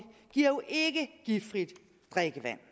giver jo ikke giftfrit drikkevand